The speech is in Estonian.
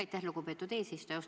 Aitäh, lugupeetud eesistuja!